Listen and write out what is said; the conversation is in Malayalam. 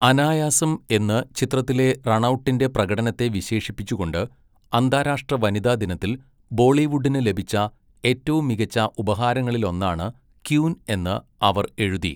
അനായാസം എന്ന് ചിത്രത്തിലെ റണൗട്ടിന്റെ പ്രകടനത്തെ വിശേഷിപ്പിച്ചുകൊണ്ട്, 'അന്താരാഷ്ട്രവനിതാദിനത്തിൽ ബോളിവുഡിന് ലഭിച്ച ഏറ്റവും മികച്ച ഉപഹാരങ്ങളിലൊന്നാണ് ക്വീൻ' എന്ന് അവർ എഴുതി.